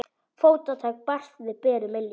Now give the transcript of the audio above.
Fótatak barst frá berum iljum.